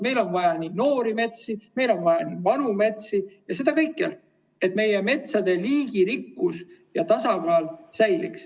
Meil on vaja noori metsi, meil on vaja vanu metsi ja seda kõikjal, et meie metsade liigirikkus ja tasakaal säiliks.